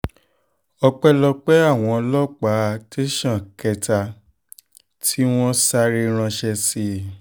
ọpẹ́lọpẹ́ àwọn ọlọ́pàá tẹ̀sán kẹta tí kẹta tí wọ́n sáré ránṣẹ́ sí